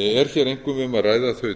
er hér einkum um að ræða þau